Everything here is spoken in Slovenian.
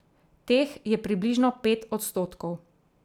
Teh je približno pet odstotkov.